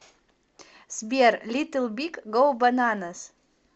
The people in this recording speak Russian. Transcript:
сбер литл биг гоу бананас